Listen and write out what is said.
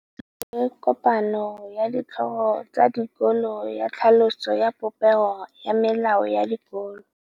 Go na le kopanô ya ditlhogo tsa dikolo ya tlhaloso ya popêgô ya melao ya dikolo.